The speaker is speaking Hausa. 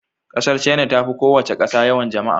ƙasar china ta fi kowace ƙasa yawan jama'a.